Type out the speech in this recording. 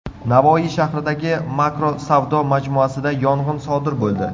Navoiy shahridagi Makro savdo majmuasida yong‘in sodir bo‘ldi.